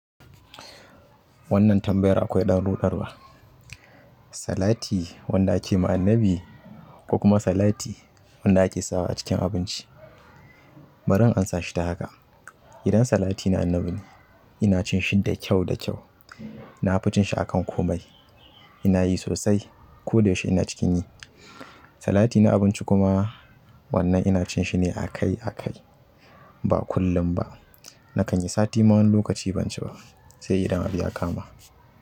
Wannan tambayar akwai ɗan ruɗarwa. Salati wanda ake ma Annabi, ko kuma salati wanda ake sawa acikin abinci. Bari in amsa shi ta haka. Idan salati na annabi ne, ina cin shi da kyau da kyau. Nafi cinshi akan komai ina yi sosai. Ko da yaushe ina cikin yi. Salati na abinci kuma wannan ina cin shi ne a kai a kai. Ba kullum ba. Nakan yi sati ma wani lokaci ban ci ba. Sai idan abu ya kama.